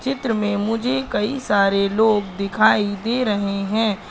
चित्र में मुझे कई सारे लोग दिखाई दे रहे हैं।